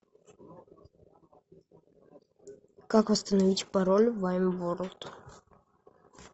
как восстановить пароль в ваймворлд